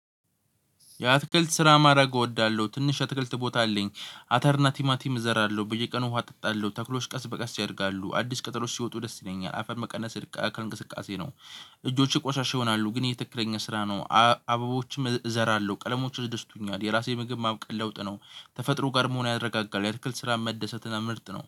የአትክልት ስራ ማረግ እወዳለሁ ትንሽ አትክልት ቦታ አለኝ አተር እና ቲማቲም እዘራለሁ በየቀኑ ውሃ አጠጣለሁ ተክሎች ቀስ በቀስ ያድጋሉ አዲስ ቅጠሎች ሲወጡ ደስ ይለኛል። አፈር መቀነስ እርቃ ከእንቅስቃሴ ነው። እጆቼ ቆሻሻ ይሆናሉ ግን ይሄ ትክክለኛ ስራ ነው። አ አበቦችም እ እዘራለሁ ቀለሞች ያስደስቱኛል የራሴ ምግብ ማብቀል ለውጥ ነው። ተፈጥሮ ጋር መሆን ያረጋጋል የአትክልት ስራ መደሰት እና ምርጥ ነው